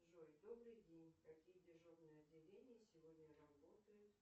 джой добрый день какие дежурные отделения сегодня работают